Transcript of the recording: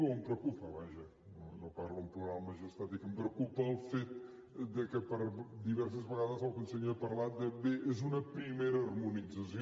o em preocupa vaja no parlo en plural majestàtic el fet que per diverses vegades el conseller ha parlat de bé és una primera harmonització